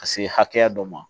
Ka se hakɛya dɔ ma